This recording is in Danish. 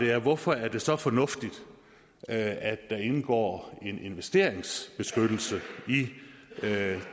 er hvorfor er det så fornuftigt at der indgår en investeringsbeskyttelse i